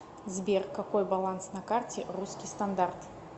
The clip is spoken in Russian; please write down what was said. сбер какой баланс на карте русский стандарт